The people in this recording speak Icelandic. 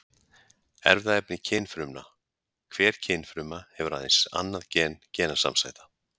Erfðaefni kynfrumna: Hver kynfruma hefur aðeins annað gen genasamsæta.